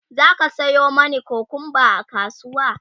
zaka Sayo mani kukumba a kasuwa?